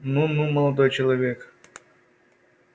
ну-ну молодой человек